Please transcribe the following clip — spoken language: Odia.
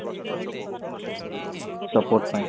support ପାଇଁ